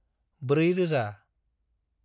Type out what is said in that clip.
ब्रै रोजा